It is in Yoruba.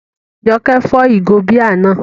Jọkẹ́ fọ́ ìgò bíà náà